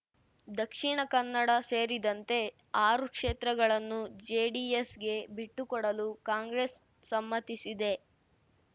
ದಕ್ಷಿಣ ಕನ್ನಡ ಸೇರಿದಂತೆ ಆರು ಕ್ಷೇತ್ರಗಳನ್ನು ಜೆಡಿಎಸ್‌ಗೆ ಬಿಟ್ಟುಕೊಡಲು ಕಾಂಗ್ರೆಸ್ ಸಮ್ಮತಿಸಿದೆ